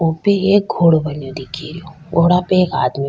ऊ पे एक घोडा बनो दिख रियो घोडा पे एक आदमी --